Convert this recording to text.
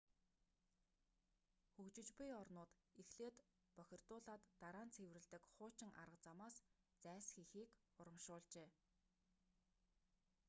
хөгжиж буй орнууд эхлээд бохирдуулаад дараа нь цэвэрлэдэг хуучин арга замаас зайлсхийхийг урамшуулжээ